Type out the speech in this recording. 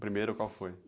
O primeiro qual foi?